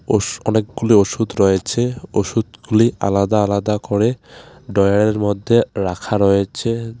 ওষ অনেকগুলি ওষুধ রয়েছে ওষুধগুলি আলাদা আলাদা করে ডয়ারের মধ্যে রাখা রয়েছে .